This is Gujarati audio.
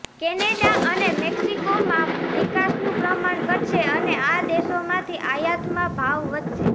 કેનેડા અને મેક્સિકોમાં નિકાસનું પ્રમાણ ઘટશે અને આ દેશોમાંથી આયાતમાં ભાવ વધશે